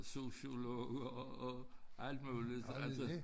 Sociologer og alt muligt så altså